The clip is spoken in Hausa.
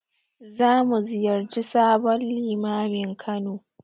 Za mu ziyarci sabon Limamin Kano.